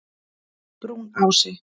Brúnási